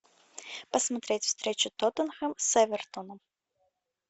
посмотреть встречу тоттенхэм с эвертоном